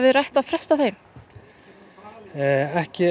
rætt að fresta þeim ekki